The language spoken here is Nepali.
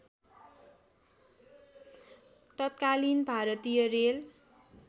तत्कालिन भारतीय रेल